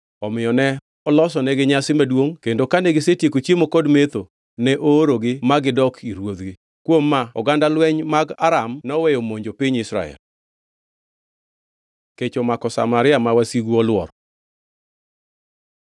Omiyo ne olosonegi nyasi maduongʼ kendo kane gisetieko chiemo kod metho, ne oorogi ma gidok ir ruodhgi. Kuom oganda lweny mag Aram noweyo monjo piny Israel. Kech omako Samaria ma wasigu olworo